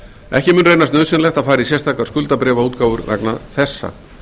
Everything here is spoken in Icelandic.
ekki mun reynast nauðsynlegt að fara í sérstakar skuldabréfaútgáfur vegna þessa